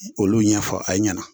Olu ɲɛfɔ a ɲɛna